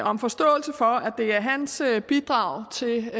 om forståelse for at det er hans bidrag til